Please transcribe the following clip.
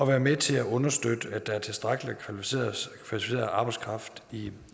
være med til at understøtte at der er tilstrækkelig kvalificeret arbejdskraft i